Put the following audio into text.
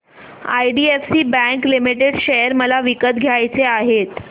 IDFC bank limited share मला विकत घ्यायचे आहेत